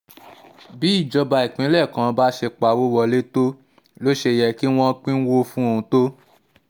bí ìjọba ìpínlẹ̀ kan bá ṣe pawọ́ wọlé tó ló ṣe yẹ kí wọ́n pínwó fún un tó